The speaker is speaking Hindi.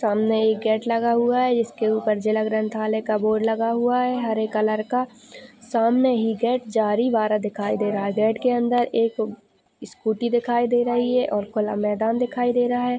सामने एक गेट लगा हुआ हैं जिसके ऊपर जिला ग्रंथ वाले का बोर्ड लगा हुआ हैं हरे कलर का सामने ही गेट जारी बारह दिखाई दे रहा हैं बेड के अंदर एक स्कूटी दिखाई दे रही हैं और खुला मैदान दिखाई दे रहा है।